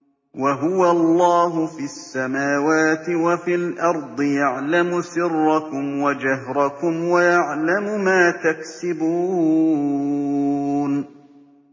وَهُوَ اللَّهُ فِي السَّمَاوَاتِ وَفِي الْأَرْضِ ۖ يَعْلَمُ سِرَّكُمْ وَجَهْرَكُمْ وَيَعْلَمُ مَا تَكْسِبُونَ